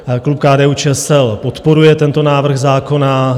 Klub KDU-ČSL podporuje tento návrh zákona.